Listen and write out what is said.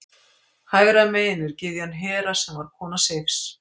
Hægra megin er gyðjan Hera sem var kona Seifs.